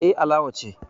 Eh, Alawa ce